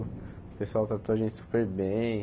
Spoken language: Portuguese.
O pessoal tratou a gente super bem.